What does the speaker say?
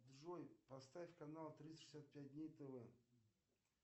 джой поставь канал триста шестьдесят пять дней тв